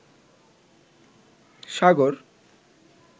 সাগর